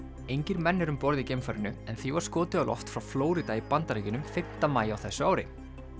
engir menn eru um borð í geimfarinu en því var skotið á loft frá Flórída í Bandaríkjunum fimmta maí á þessu ári